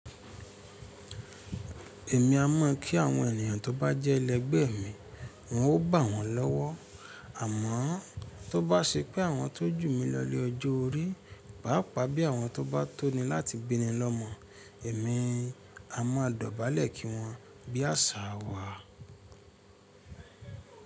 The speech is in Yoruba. Èmi a mọ̀ kí àwọn ènìyàn tó bá jẹ́ ẹlẹgbẹ́ mi, n ó bà wọ́n lọ́wọ́. Àmọ́ tó bá ṣe pé àwọn tó jù mi lọ ni ọjọ́ orí, pàápàá bí àwọn tó bá tóni láti binni lọ́mọ, èmi a mọ̀ dọ̀bálẹ̀ kí wọ́n bí àṣà wa.